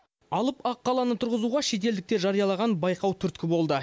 алып аққаланы тұрзызуға шетелдіктер жариялаған байқау түрткі болды